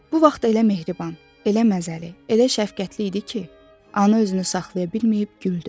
Bu vaxt elə mehriban, elə məzəli, elə şəfqətli idi ki, ana özünü saxlaya bilməyib güldü.